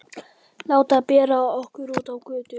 Láta bera okkur út á götu?